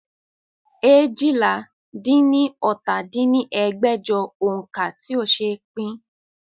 eéjìlá-dín-ní-ọ́ta dín ní ẹgbẹ́jọ òǹkà tí ó ṣe pín